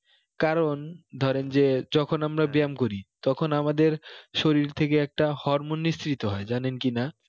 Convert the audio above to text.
কারণ ধরেন যে যখন আমরা ব্যাম করি তখন আমাদের শরীর থেকে একটা hormone নিষ্কৃত হয়ে জানেন কি না